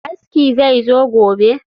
Aski zai zo gobe